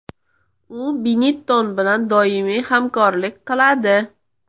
U Benetton bilan doimiy hamkorlik qiladi.